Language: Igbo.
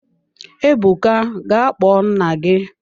Ebuka ga kpọọ nna gị!